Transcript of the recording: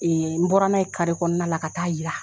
n bɔra n'a ye kɔɔna la ka taa yira